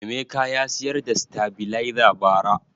Emeka ya siyar da sitabiliza ba ra